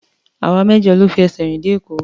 Àwa mẹ́jọ la fi ẹsẹ̀ rìn dé Èkó.